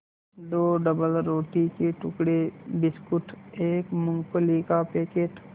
दो डबलरोटी के टुकड़े बिस्कुट एक मूँगफली का पैकेट